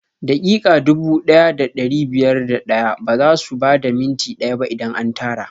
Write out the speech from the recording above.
Daƙiƙa dubu ɗaya da ɗari biyar da ɗaya bazasu bada minti ɗaya ba idan an tara